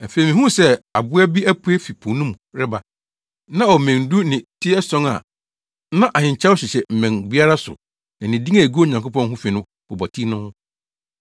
Afei mihuu sɛ aboa bi apue fi po no mu reba. Na ɔwɔ mmɛn du ne ti ason a na ahenkyɛw hyehyɛ mmɛn no biara so na din a egu Onyankopɔn ho fi bobɔ ti no ho.